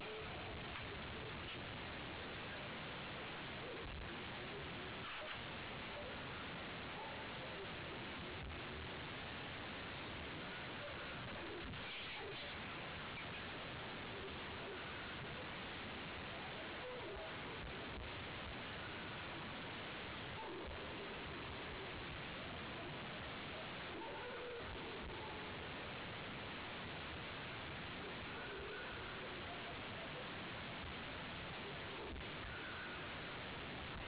እንደ ደስታ ወይም ሀዘን ያሉ ጠንካራ ስሜቶች ሲሰማዎት-ለሌሎች ለማካፈል የትኛው ይቀላል? የሚቀለው መንገድ ያሉ ችግሮችን እንደ አመጣጡ ለማስቀመጥነገር ግን ከበድ ሲል በለቅሶ እና በሀዘን ለመግለፅ ትገደዳለህ ይህን ስሜት በግልጽ ያሳዩበትን ጊዜ ግለጹ የጉልት ስራ በምሰራበት አንድ ጊዜ ተደጋጋሚ የሆኑ ክስረቶች እና የማቀርበው ምርት ጥራት ማነስ እና ያወጣሁበት እና ገቢያ ላይ የዋጋ ማሽቆልቆል አጋጥሞኝ ነበር በዚያን ወቅት ቤት ውስጥ የሚበላ የሚቀመስ ነገር አልነበረኝም ራበኝ ብሎ ሰዎችን መጠየቅ በጣም ከባድ ነበር። ለመግለጽ ከባድ ነበር ወይስ ቀላል? በጣም ከባድ ነበር